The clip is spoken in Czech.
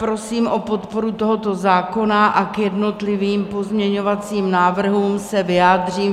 Prosím o podporu tohoto zákona a k jednotlivým pozměňovacím návrhům se vyjádřím.